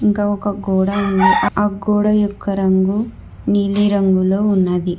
ఇంకా ఒక గోడ ఉంది ఆ గోడ యొక్క రంగు నీలి రంగులో ఉన్నది.